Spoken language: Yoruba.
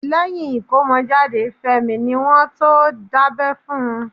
Lẹ́yìn ìkómọjáde Fẹ́mi ni wọ́n tó dábẹ́ fún un.